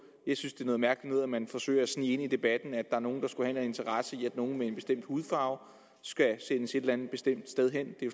jeg synes det er noget mærkeligt noget at man forsøger at snige ind i debatten at der er nogle der skulle have en interesse i at nogle med en bestemt hudfarve skal sendes et eller andet bestemt sted hen